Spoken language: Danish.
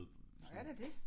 Nåh er det det